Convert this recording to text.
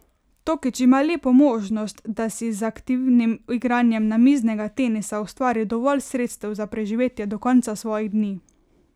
Tokič ima lepo možnost, da si z aktivnim igranjem namiznega tenisa ustvari dovolj sredstev za preživetje do konca svojih dni.